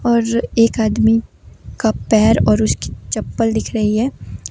और एक आदमी का पैर और उसकी चप्पल दिख रही है।